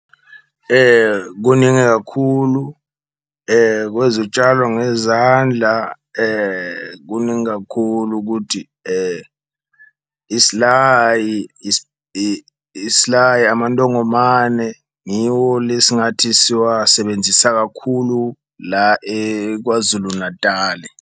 Kuningi kakhulu kwezitshalo ngezandla kuningi kakhulu ukuthi , isilayi, amantongomane ngiwo le singathi siwasebenzisa kakhulu la eKwaZulu-Natali.